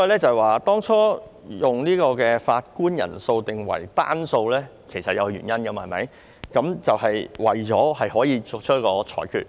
所以，當初將法官人數定為單數是有原因的，就是為了作出裁決。